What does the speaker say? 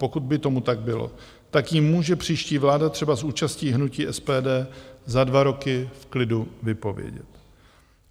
Pokud by tomu tak bylo, tak ji může příští vláda třeba s účastí hnutí SPD za dva roky v klidu vypovědět.